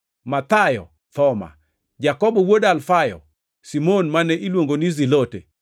Mathayo, Thoma, Jakobo wuod Alfayo, Simon mane iluongo ni ja-Zilote,